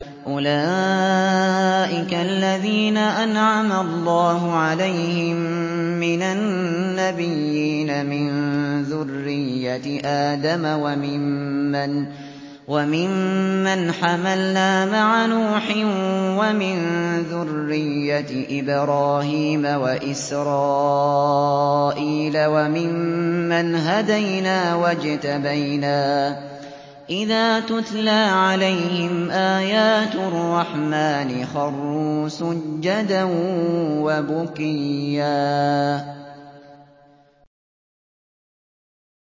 أُولَٰئِكَ الَّذِينَ أَنْعَمَ اللَّهُ عَلَيْهِم مِّنَ النَّبِيِّينَ مِن ذُرِّيَّةِ آدَمَ وَمِمَّنْ حَمَلْنَا مَعَ نُوحٍ وَمِن ذُرِّيَّةِ إِبْرَاهِيمَ وَإِسْرَائِيلَ وَمِمَّنْ هَدَيْنَا وَاجْتَبَيْنَا ۚ إِذَا تُتْلَىٰ عَلَيْهِمْ آيَاتُ الرَّحْمَٰنِ خَرُّوا سُجَّدًا وَبُكِيًّا ۩